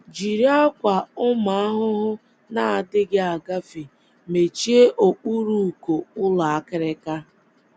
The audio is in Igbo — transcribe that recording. Jiri ákwà ụmụ ahụhụ na - adịghị agafe mechie okpuru uko ụlọ akịrịka.